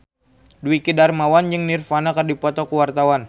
Dwiki Darmawan jeung Nirvana keur dipoto ku wartawan